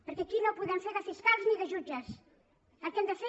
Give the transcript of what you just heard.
perquè aquí no podem fer de fiscals ni de jutges el que hem de fer